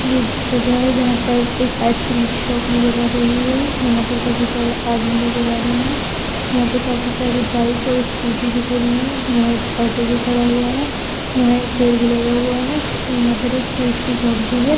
ये एक जगह है जहां पर एक आईसक्रीम की शोप नजर आ रही है| यहां पर काफी सारे आदमी नजर आ रहे हैं यहां पे काफी सारी बाइक और स्कूटी भी खड़ी है| यहां एक ऑटो भी खड़ा हुआ है यहां एक पेड़ भी लगा हुआ है और यहां पर एक फ्रूट की शोप भी है।